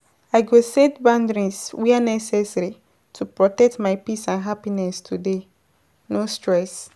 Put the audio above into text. I go set boundaries where necessary to protect my peace and happiness today, no stress.